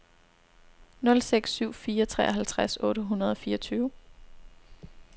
nul seks syv fire treoghalvtreds otte hundrede og fireogtyve